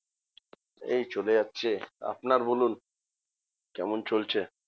এই চলে যাচ্ছে আপনার বলুন। কেমন চলছে?